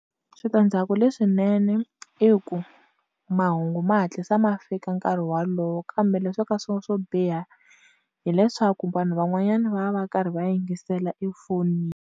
Switandzhaku leswinene i ku mahungu ma hatlisa ma fika nkarhi walowo kambe leswo ka swo swo biha hileswaku vanhu van'wanyana va va va karhi va yingisela efonini.